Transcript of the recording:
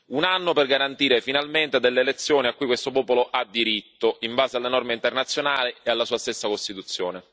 Un anno per garantire finalmente delle elezioni a cui questo popolo ha diritto in base alle norme internazionali e alla sua stessa Costituzione.